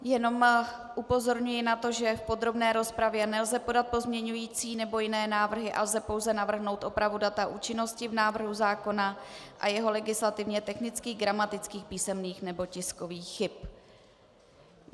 Jenom upozorňuji na to, že v podrobné rozpravě nelze podat pozměňující nebo jiné návrhy a lze pouze navrhnout opravu data účinnosti v návrhu zákona a jeho legislativně technických, gramatických, písemných nebo tiskových chyb.